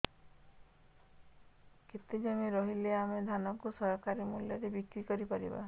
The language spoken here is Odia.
କେତେ ଜମି ରହିଲେ ଆମେ ଧାନ କୁ ସରକାରୀ ମୂଲ୍ଯରେ ବିକ୍ରି କରିପାରିବା